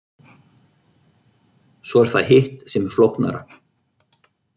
Svo er það hitt sem er flóknara.